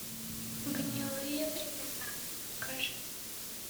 гнилые времена покажи